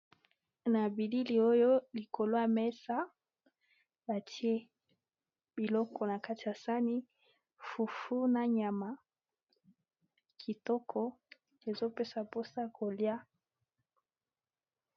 Na bilili oyo likolo ya mesa batie biloko na kati ya sani fufu na nyama kitoko ezopesa mposa kolia.